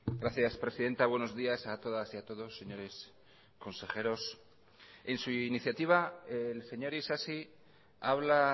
gracias presidenta buenos días a todas y a todos señores consejeros en su iniciativa el señor isasi habla